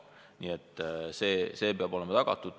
Nii et see peab olema tagatud.